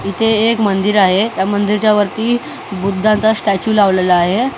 इथे एक मंदिर आहे त्या मंदिरच्या वरती बुद्धांचा स्टेचू लावलेला आहे.